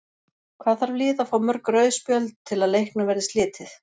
Hvað þarf lið að fá mörg rauð spjöld til að leiknum verði slitið?